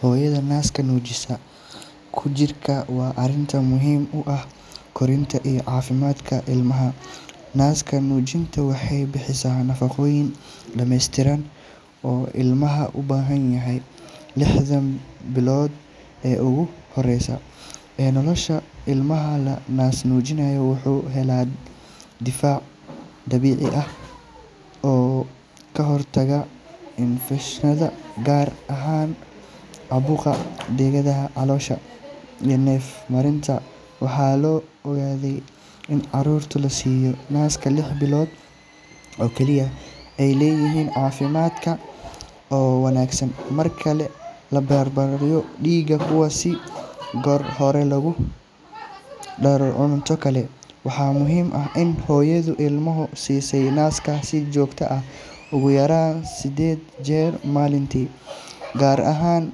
Hooyada naas-nuujinta ku jirta waa arrin muhiim u ah koritaanka iyo caafimaadka ilmaha. Naas-nuujintu waxay bixisaa nafaqooyin dhammeystiran oo ilmaha u baahan yahay lixda bilood ee ugu horreeya ee nolosha. Ilmaha la naas-nuujiyo wuxuu helaa difaac dabiici ah oo ka hortaga infekshannada, gaar ahaan caabuqa dhegaha, caloosha iyo neef-mareenka. Waxaa la ogaaday in carruurta la siiyo naaska lix bilood oo kaliya ay leeyihiin caafimaad ka wanaagsan marka la barbar dhigo kuwa si goor hore loogu daro cunto kale. Waxaa muhiim ah in hooyadu ilmaha siisid naaska si joogto ah, ugu yaraan siddeed jeer maalintii, gaar ahaan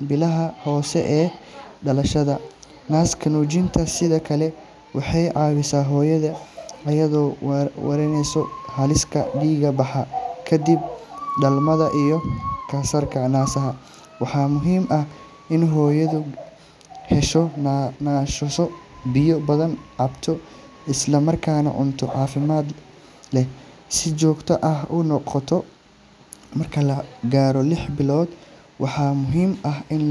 bilaha hore ee dhalashada. Naas-nuujintu sidoo kale waxay caawisaa hooyada, iyadoo yareyneysa halista dhiig-baxa kadib dhalmada iyo kansarka naasaha. Waxaa muhiim ah in hooyadu hesho nasasho, biyo badan cabto, isla markaana cunto caafimaad leh si joogto ah u qaadato. Marka la gaaro lix bilood, waxaa muhiim ah in.